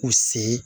U sen